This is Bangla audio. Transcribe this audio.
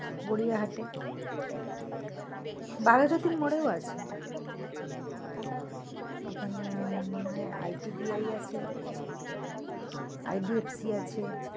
গড়িয়াহাটে বাঘাযতীন মোড়েও আছে ওখানে এ মনে হয় ITBI আছে IDFC আছে।